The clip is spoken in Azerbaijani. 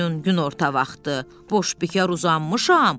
Günün günorta vaxtı boş bikar uzanmışam.